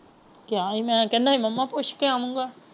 ਕਹਿਆ ਸੀ ਅਮੀਨ ਕਹਿੰਦਾ ਸੀ ਮਾਮਾ ਪੁੱਛ ਕੇ ਆਉਗਾ।